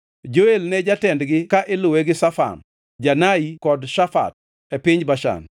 Joel ne jatendgi ka iluwe gi Shafam, Janai kod Shafat, e piny Bashan.